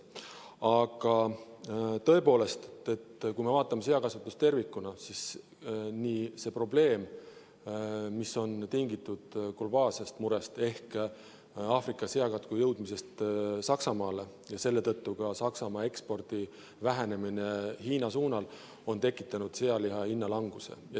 Aga tõepoolest, kui me vaatame seakasvatust tervikuna, siis see probleem, mis on tingitud globaalsest murest ehk Aafrika seakatku jõudmisest Saksamaale ja selle tõttu ka Saksamaa ekspordi vähenemisest Hiina suunal, on tekitanud sealiha hinna languse.